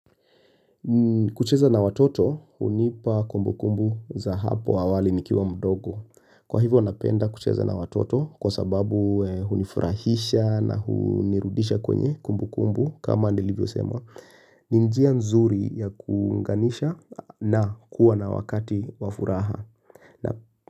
Kucheza na watoto hunipa kumbukumbu za hapo awali nikiwa mdogo. Kwa hivo napenda kucheza na watoto kwa sababu hunifurahisha na hunirudisha kwenye kumbukumbu kama nilivyo sema. Ni njia nzuri ya kuunganisha na kuwa na wakati wa furaha.